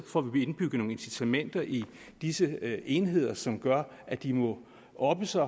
får vi indbygget nogle incitamenter i disse enheder som gør at de må oppe sig